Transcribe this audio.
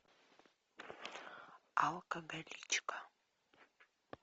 алкоголичка